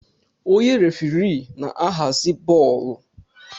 Onye referii na-ahazi bọọlụ.